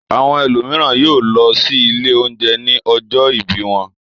Àwọn ẹlòmíràn yóò lọ sí ilé-oúnjẹ ní ọjọ́ ìbí wọn.